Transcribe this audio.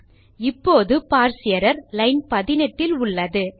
சரி இப்போது parse error line 18 இல் உள்ளது